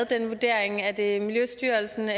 den vurdering er det miljøstyrelsen